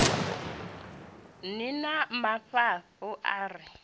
ni na mafhafhu a re